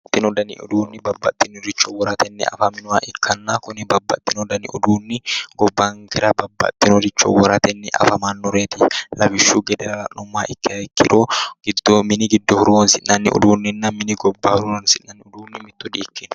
babbaxino dani uduunnichi babbaxinoricho woratenni afaminnoha ikkanna kuni gobbankera babaxeewore woratenni afamnnoreti lawishshu gede la'nummoro ikkiha ikkiro mini giddo horoonsi'nanna mini gobba horoonsi'nannihu mitto di'ikkinno.